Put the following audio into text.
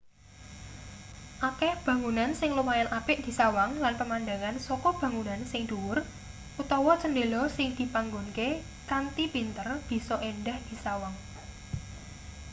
akeh bangunan sing lumayan apik disawang lan pemandangan saka bangunan sing dhuwur utawa cendhela sing dipanggonke kanthi pinter bisa endah disawang